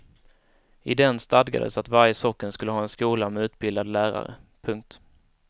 I den stadgades att varje socken skulle ha en skola med utbildad lärare. punkt